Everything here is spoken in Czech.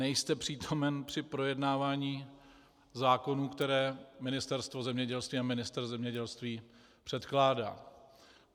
Nejste přítomen při projednávání zákonů, které Ministerstvo zemědělství a ministr zemědělství předkládá.